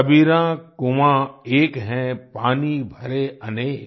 कबीरा कुआँ एक है पानी भरे अनेक